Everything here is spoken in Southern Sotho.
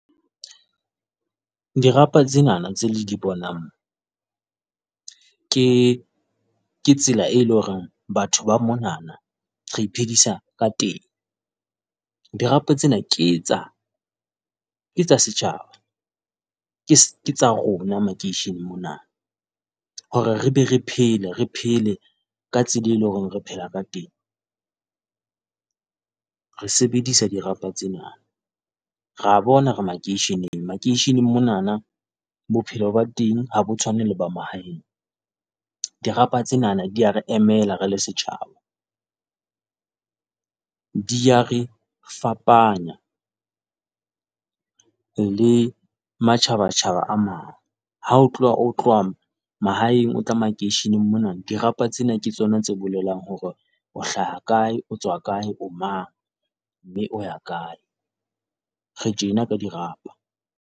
Dirapa tsenana tseo le di bonang. mona ke tsela e leng hore batho ba monana re iphedisa ka teng. Dirapa tsena ke tsa ke tsa setjhaba, ke ke tsa rona makeisheneng mona. Hore re be re phele, re phele ka tsela eo leng hore re phela ka teng. Re sebedisa dirapa tsena. Rea bona re makeisheneng, makeisheneng monana bophelo ba teng ha bo tshwane le ba mahaeng. Dirapa tsenana di re emela re le setjhaba. Di a re fapanya le matjhabatjhaba a mang, ha o tloha o tloha moo mahaeng o tla makeisheneng mona, dirapa tsena ke tsona tse bolelang hore o hlaha kae, o tswa kae, o mang, mme o ya kae. Re tjena ke dirapa.